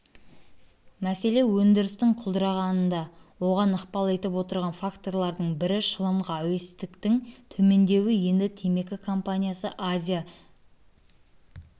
мәселе өндірістің құлдырағанында оған ықпал етіп отырған факторлардың бірі шылымға әуестіктің төмендеуі енді темекі компаниясы азия